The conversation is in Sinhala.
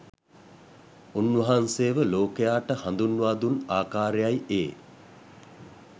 උන්වහන්සේව ලෝකයාට හඳුන්වා දුන් ආකාරයයි ඒ.